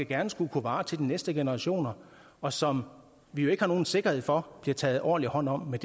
gerne skulle kunne vare til de næste generationer og som vi jo ikke har nogen sikkerhed for bliver taget ordentligt hånd om med